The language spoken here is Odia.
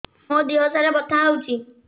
ମୋ ଦିହସାରା ବଥା ହଉଚି